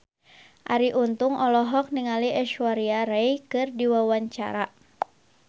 Arie Untung olohok ningali Aishwarya Rai keur diwawancara